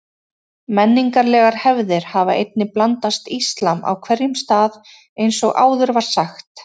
Menningarlegar hefðir hafa einnig blandast íslam á hverjum stað eins og áður var sagt.